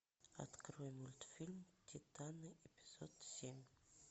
открой мультфильм титаны эпизод семь